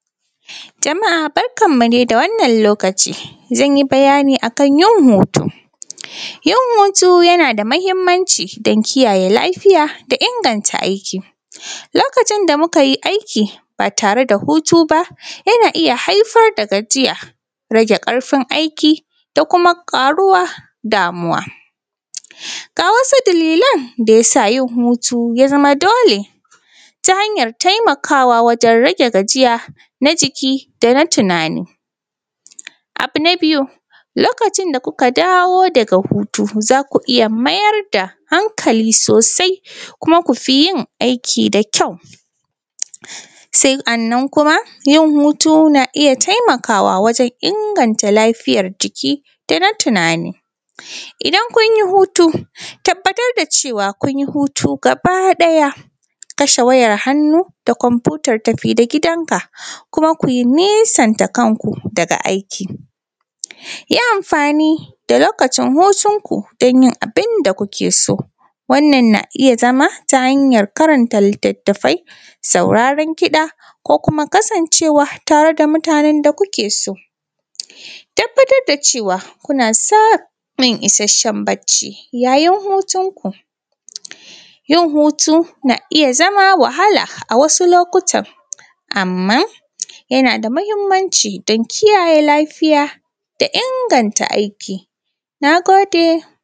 Jama'a barkanmu dai da wannan lokaci zan yi bayani a kan hutu, yin hutu yana da matuƙar muhimmanci saboda kiyaye lafiya, lokacin da muka yi aiki ba tare da hutu ba yana haifar da gajiya rage ƙarfi aiki da kuma ƙaruwar damuwa ga wasu dalilan da ya sa yin hutu ya zama dole ta hanyar taimakawa wajen hutu na jiki da kuma: tunani. abu na biyu lokacin da kuka dawo daga hutu za ku iya mayar da hankali sosai kuma ku yi aiki da ƙyau. haka nan kuma yin hutu na taimakawa wajen inganta lafiyar jiki da na tunani. Idan kun yi hutu ku tabbatar da cewa kun yi hutu haba ɗaya ku kashe wayarmu da kwanfutar tafi da gidanka, ku nesanta kanku daga aiki. Ku yi amfani da lokaci hutu ku yi abun da kuke so, hakan na iya zama ta hanyar karanta littattafai sauraran kida da ko kuma: kasance:wa tare da mutanen da kuke so ku tabbatar da cewa kuna samun isasshen bacci ya yin hutunku. Yin hutu na iya zama wahala a wasu lokutan amma yana da muhimmanci don kiyayen lafiya da inganta aiki. Na gode.